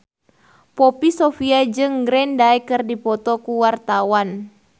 Poppy Sovia jeung Green Day keur dipoto ku wartawan